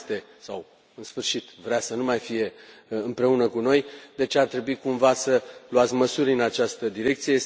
Nu mai este sau, în sfârșit, vrea să nu mai fie împreună cu noi, deci ar trebui cumva să luați măsuri în această direcție.